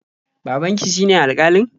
Babanki shine alƙalin?